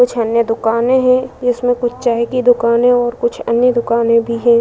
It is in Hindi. कुछ अन्य दुकाने हैं। इसमें कुछ चाय की दुकानें और कुछ अन्य दुकानें भी हैं।